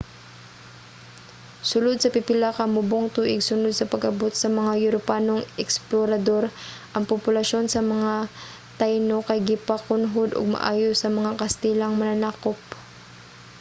sulod sa pipila ka mubong tuig sunod sa pag-abot sa mga europanong eksplorador ang populasyon sa mga taino kay gipakunhod og maayo sa mga kastilang mananakop